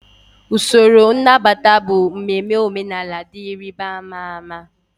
Usoro nnabata bụ mmemme omenala dị ịrịba ama ama.